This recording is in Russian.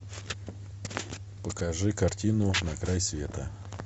покажи картину на край света